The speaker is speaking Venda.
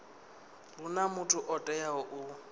huna muthu o teaho u